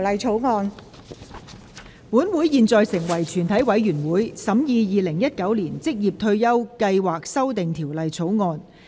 本會現在成為全體委員會，審議《2019年職業退休計劃條例草案》。